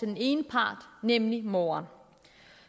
den ene part nemlig moderen